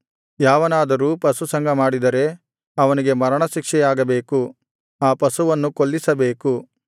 ಯಾವನಾದರೂ ಪಶುಸಂಗ ಮಾಡಿದರೆ ಅವನಿಗೆ ಮರಣ ಶಿಕ್ಷೆಯಾಗಬೇಕು ಆ ಪಶುವನ್ನು ಕೊಲ್ಲಿಸಬೇಕು